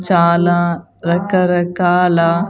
చాలా రాకరకాల.